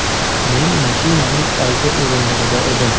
Men mashinaning old o‘rindig‘ida edim.